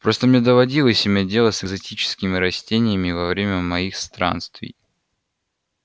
просто мне доводилось иметь дело с экзотическими растениями во время моих странствий